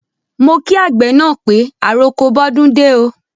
Mo kí àgbẹ̀ na pé àrọko bọdúndé o.